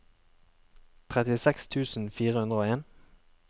trettiseks tusen fire hundre og en